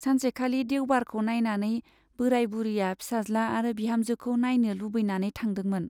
सानसेखालि देउबारखौ नाइनानै बोराय बुरिया फिसाज्ला आरो बिहामजोखौ नाइनो लुबैनानै थांदोंमोन।